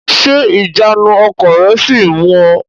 Ṣé ìjánu ọkọ̀ rẹ sì ń mú u?